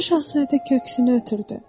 Balaca Şahzadə köksünü ötürdü.